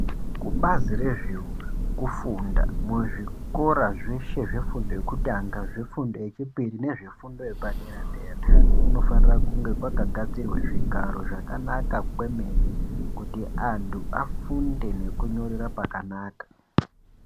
Kubazi rezvekufunda muzvikora zveshe zvefundo yekutanga zvefundo yechipiri nezve fundo yepaderadera kunofanire kunge kwakagadzirwe zvigaro zvakanaka kwememe kuti anhu afunde nekunyorera pakanaka.